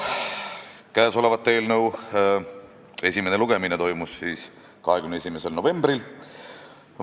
Ka käesoleva eelnõu esimene lugemine toimus 21. novembril.